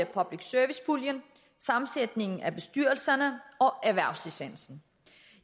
public service puljen sammensætning af bestyrelserne og erhvervslicensen